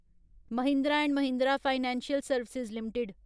Mahindra and Mahindra financial services limited